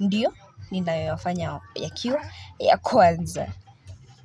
ndiyo, ninayoyafanya yakiwa ya kwanza.